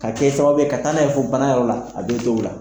ka kɛ sababu ye ka taa'a n'a ye fɔ bana yɔrɔ la a be dɔw la